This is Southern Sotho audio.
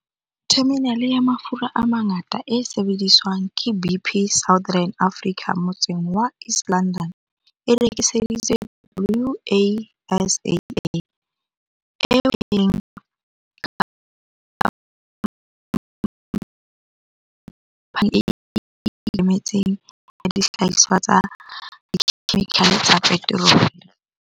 Theminale ya mafura a mangata e sebediswang ke BP Southern Africa motseng wa East London e rekiseditswe Wasaa, eo e leng khampani e ikemetseng ya dihlahiswa tsa dikhemikhale tsa peterole.